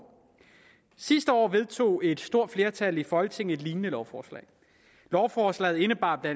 sidste år vedtog et stort flertal i folketinget et lignende lovforslag lovforslaget indebar bla